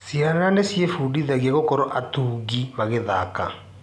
Ciana nĩciĩbundithagia gũkorwo atungi magĩthaka?